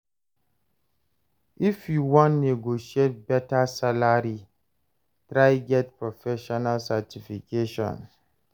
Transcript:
If you wan negotiate beta salary, try get professional certification.